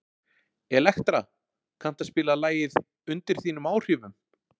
Elektra, kanntu að spila lagið „Undir þínum áhrifum“?